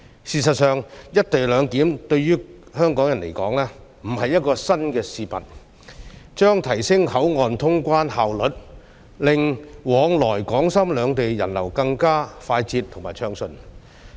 事實上，"一地兩檢"對於香港人來說並非新事物，這安排將提升口岸通關效率，令往來港深兩地的人流更快捷和暢順。